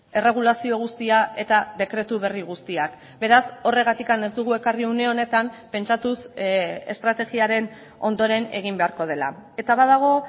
erregulazio guztia eta dekretu berri guztiak beraz horregatik ez dugu ekarri une honetan pentsatuz estrategiaren ondoren egin beharko dela eta badago